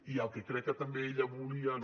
i el que crec que també ella volia no